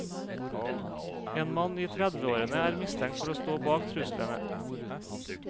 En mann i tredveårene er mistenkt for å stå bak truslene.